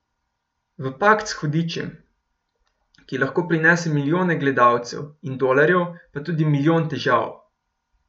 V pakt s hudičem, ki lahko prinese milijone gledalcev in dolarjev pa tudi milijon težav.